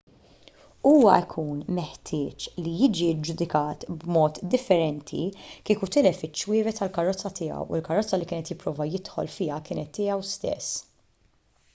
huwa jkun meħtieġ li jiġi ġġudikat b'mod differenti kieku tilef iċ-ċwievet tal-karozza tiegħu u l-karozza li kien qed jipprova jidħol fiha kienet tiegħu stess